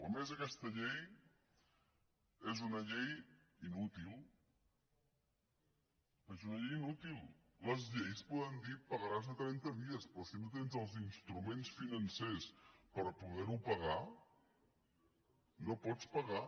a més aquesta llei és una llei inútil és una llei inútil les lleis poden dir pagaràs a trenta dies però si no tens els instruments financers per poder ho pagar no ho pots pagar